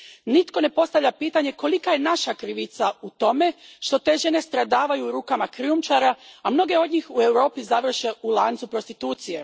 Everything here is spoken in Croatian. Nitko ne postavlja pitanje kolika je naša krivica u tome što te žene stradavaju u rukama krijumčara, a mnoge od njih u Europi završe u lancu prostitucije.